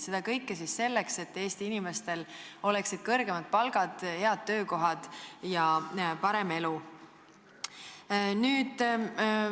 Seda kõike selleks, et Eesti inimestel oleksid kõrgemad palgad, head töökohad ja parem elu.